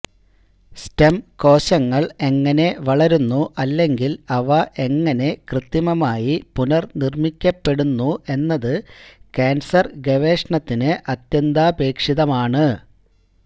stem കോശങ്ങൾ എങ്ങനെ വളരുന്നു അല്ലെങ്കിൽ അവ എങ്ങനെ കൃത്രിമമായി പുനർനിർമ്മിക്കപ്പെടുന്നു എന്നത് ക്യാൻസർ ഗവേഷണത്തിന് അത്യന്താപേക്ഷിതമാണ്